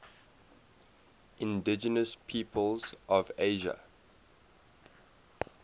indigenous peoples of asia